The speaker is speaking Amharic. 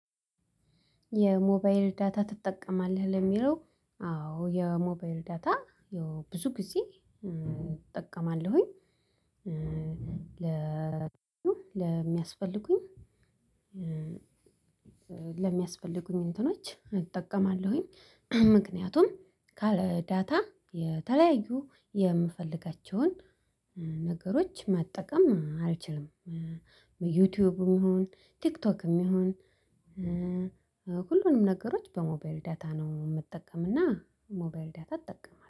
የሞባይል ዳታ ትጠቀማለህ? ለሚለው አዎ የሞባይል ዳታ ብዙ ጊዜ እጠቀማለሁኝ ለሚያስፈልጉኝ ለሚያስፈልጉኝ እንትኖች እጠቀማለሁኝ። ምክንያቱም ዳታ የተለያዩ የምፈልጋቸውን ነገሮች መጠቀም አልችልም ዩቲዩብም ይሁን ቲክቶክም ይሁን ሁሉንም ነገሮች በሞባይል ዳታ ነው የምትጠቀምና ሞባይል ዳታ እጠቀማለሁ።